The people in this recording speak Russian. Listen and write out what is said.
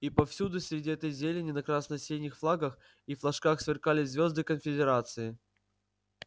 и повсюду среди этой зелени на красно-синих флагах и флажках сверкали звёды конфедерации